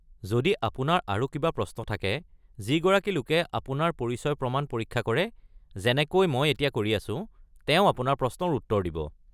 যদি আপোনাৰ আৰু কিবা প্ৰশ্ন থাকে, যিগৰাকী লোকে আপোনাৰ পৰিচয় প্ৰমাণ পৰীক্ষা কৰে যেনেকৈ মই এতিয়া কৰি আছো, তেওঁ আপোনাৰ প্ৰশ্নৰ উত্তৰ দিব।